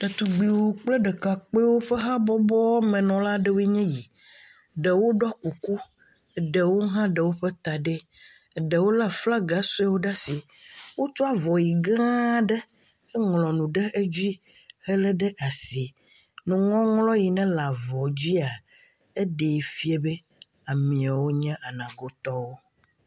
Detugbuiwo kple ɖekakuiwo ƒe habɔbɔ menɔlawoe ny esi, ɖewo ɖɔ kuku ɖewo hã ɖe woƒe ta ɖi, ɖewo lé ahlaga suewo ɖe asi wotsɔ avɔʋi gã aɖe ŋlɔ nu ɖe dzi helé ɖe asi, nuŋɔŋlɔ si le avɔ la dzi la ɖee fia be ameawo nye Anagotɔwo.